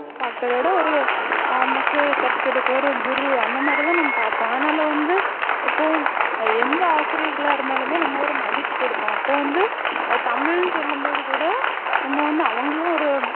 பாக்குறத விட ஒரு நமக்கு கற்றுத்தரக்கூடிய குரு அந்தமாதிரி தான் நம்ம பார்ப்போம் அதனால வந்து எப்போவும் எந்த ஆசிரியர்களாக இருந்தாலுமே நம்ம ஒரு மதிப்பு கொடுப்போம் அப்போ வந்து ஆஹ் தமிழ்னு சொல்லும் போது கூட நம்ம வந்து அவங்களும் ஒரு